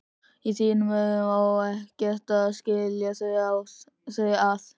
Í þínum augum á ekkert að skilja þau að.